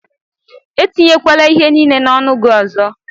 Etinyekwala ihe niile n'ọnụ gị ọzọ!